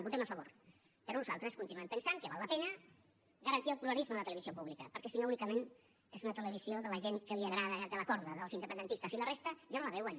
votem a favor però nosaltres continuem pensant que val la pena garantir el pluralisme a la televisió pública perquè si no únicament és una televisió de la gent que li agrada de la corda dels independentistes i la resta ja no la veuen